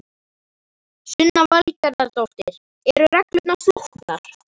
Sunna Valgerðardóttir: Eru reglurnar flóknar?